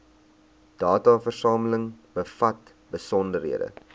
dataversameling bevat besonderhede